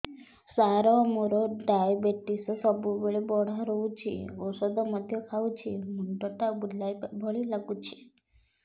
ସାର ମୋର ଡାଏବେଟିସ ସବୁବେଳ ବଢ଼ା ରହୁଛି ଔଷଧ ମଧ୍ୟ ଖାଉଛି ମୁଣ୍ଡ ଟା ବୁଲାଇବା ଭଳି ଲାଗୁଛି